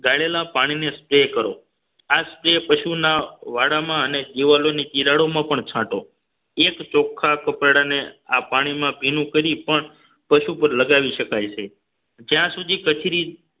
ગાળેલા પાણીને spray કરો આ spray પશુના વાડામાં અને દીવાલોની ચિરાડો માં પણ છાંટો એક ચોખા કપડા ને આ પાણીમાં ભીનું કરી પણ પશુ પર લગાવી શકાય છે જ્યાં સુધી કથરી